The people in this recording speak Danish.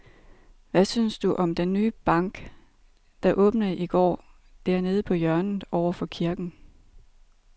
Hvad synes du om den nye bank, der åbnede i går dernede på hjørnet over for kirken?